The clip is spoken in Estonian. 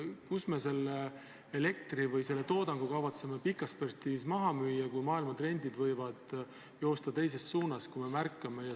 Kuhu me selle elektri või selle toodangu kavatseme pikas perspektiivis maha müüa, kui maailma trendid jooksevad teises suunas?